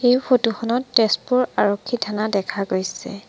এই ফটো খনত তেজপুৰ আৰক্ষী থানা দেখা গৈছে।